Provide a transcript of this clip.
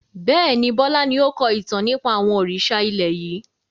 Bẹ́ẹ̀ni, Bọlá ni o kọ ìtàn nípa àwọn òrìṣà ilẹ̀ yìí.